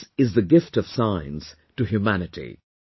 This is the gift of science to humanity